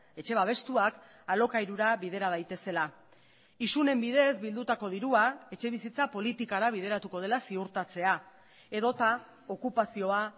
etxe babestuak alokairura bidera daitezela isunen bidez bildutako dirua etxebizitza politikara bideratuko dela ziurtatzea edota okupazioa